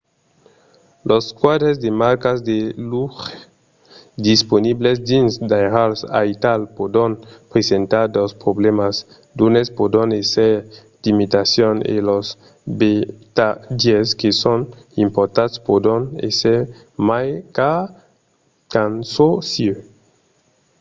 los quadres de marcas de luxe disponibles dins d'airals aital pòdon presentar dos problèmas; d'unes pòdon èsser d'imitacions e los vertadièrs que son importats pòdon èsser mai cars qu'en çò sieu